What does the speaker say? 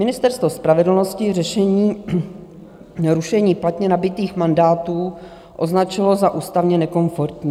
Ministerstvo spravedlnosti řešení rušení platně nabytých mandátů označilo za ústavně nekomfortní.